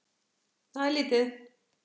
Það er lítið